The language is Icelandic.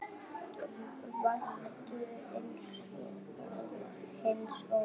Væntu hins óvænta.